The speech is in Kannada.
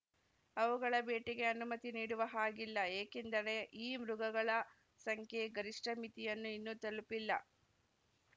ಅವುಗಳ ಬೇಟೆಗೆ ಅನುಮತಿ ನೀಡುವ ಹಾಗಿಲ್ಲ ಏಕೆಂದರೆ ಈ ಮೃಗಗಳ ಸಂಖ್ಯೆ ಗರಿಷ್ಠ ಮಿತಿಯನ್ನು ಇನ್ನೂ ತಲುಪಿಲ್ಲ